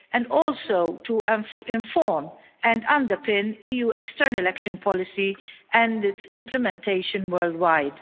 and also to inform and underpin EU External Action policy and its implementation worldwide.